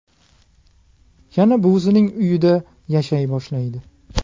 Yana buvisining uyida yashay boshlaydi.